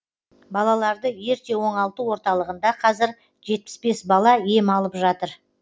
балаларды ерте оңалту орталығында қазір жетпіс бес бала ем алып жатыр